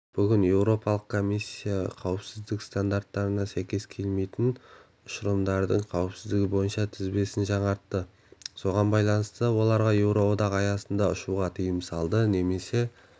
бүгін еуропалық комиссия қауіпсіздік стандарттарына сәйкес келмейтін ұшырылымдардың қауіпсіздігі бойынша тізбесін жаңартты соған байланысты оларға еуроодақ аясында ұшуға тыйым салды немесе